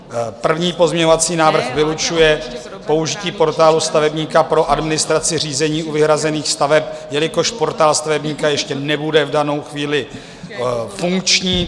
První pozměňovací návrh vylučuje použití Portálu stavebníka pro administraci řízení u vyhrazených staveb, jelikož Portál stavebníka ještě nebude v danou chvíli funkční.